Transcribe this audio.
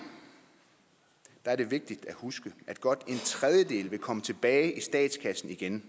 er det vigtigt at huske at godt en tredjedel vil komme tilbage i statskassen igen